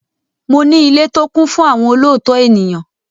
Mo ní ilé tó kún fún àwọn olóòótọ́ ènìyàn.